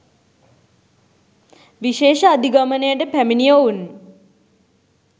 විශේෂ අධිගමනයට පැමිණි ඔවුන්